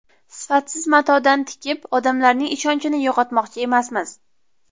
Sifatsiz matodan tikib, odamlarning ishonchini yo‘qotmoqchi emasmiz.